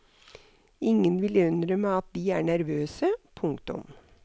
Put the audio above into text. Ingen vil innrømme at de er nervøse. punktum